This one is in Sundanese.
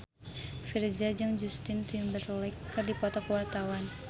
Virzha jeung Justin Timberlake keur dipoto ku wartawan